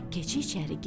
Keçi içəri girdi.